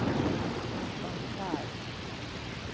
ungefär